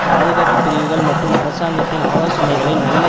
பாதுகாப்பு பிரிவுகள் மற்றும் அரசாங்கத்தின் ஆலோசனைகளை நல்ல